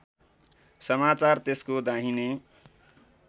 समाचार त्यसको दाहिने